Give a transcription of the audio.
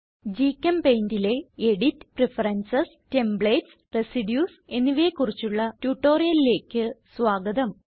GChemPaintലെ edit preferences templates residues എന്നിവയെ കുറിച്ചുള്ള ട്യൂട്ടോറിയലിലേക്ക് സ്വാഗതം